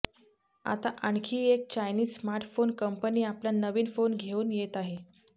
आता आणखी एक चायनीज स्मार्टफोन कंपनी आपला नवीन फोन घेऊन येत आहे